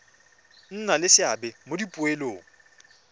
nna le seabe mo dipoelong